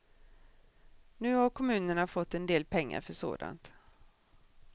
Nu har kommunerna fått en del pengar för sådant.